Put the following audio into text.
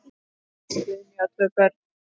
Guðný á tvö börn.